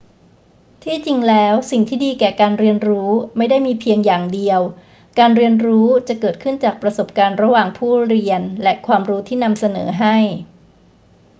ที่จริงแล้วสิ่งที่ดีแก่การเรียนรู้ไม่ได้มีเพียงอย่างเดียว การเรียนรู้จะเกิดขึ้นจากประสบการณ์ระหว่างผู้เรียนและความรู้ที่นำเสนอให้